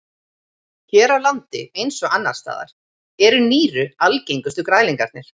Hér á landi eins og annars staðar eru nýru algengustu græðlingarnir.